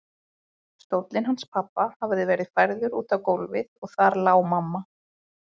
Stóllinn hans pabba hafði verið færður út á gólfið og þar lá mamma.